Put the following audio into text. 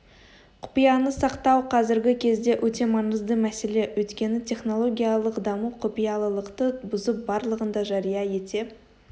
құпияны сақтау қазіргі кезде өте маңызды мәселе өйткені технологиялық даму құпиялылықты бұзып барлығын да жария ете